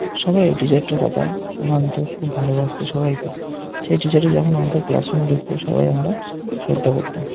সবাই এই টিচার টার কথা মানতো খুব ভালোবাসতো সবাইকে সেই টিচার টা যখন আমাদের ক্লাস রুম ঢুকতো সবাই আমরা শ্রদ্ধা করতাম।